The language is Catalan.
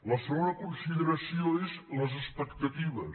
la segona consideració és les expectatives